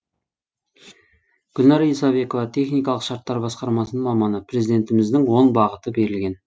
гүлнара исабекова техникалық шарттар басқармасының маманы президентіміздің он бағыты берілген